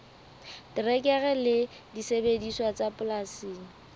terekere le disebediswa tsa polasing